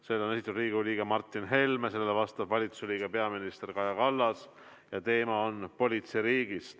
Selle on esitanud Riigikogu liige Martin Helme, sellele vastab valitsuse liige, peaminister Kaja Kallas ja teema on politseiriik.